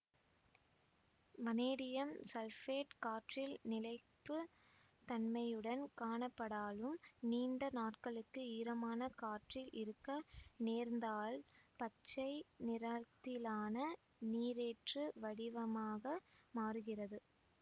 vanadium sulphate காற்றில் நிலைப்பு தன்மையுடன் காணப்படாலும் நீண்ட நாட்களுக்கு ஈரமான காற்றில் இருக்க நேர்ந்தால் பச்சை நிறாத்திலான நீரேற்று வடிவமாக மாறுகிறது